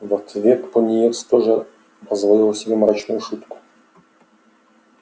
в ответ пониетс тоже позволил себе мрачную шутку